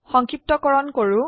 সংক্ষিপ্তকৰন কৰো